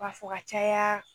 U b'a fɔ ka caya